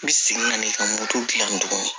I bi segin ka na i ka moto dilan tuguni